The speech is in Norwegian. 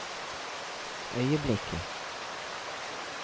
øyeblikket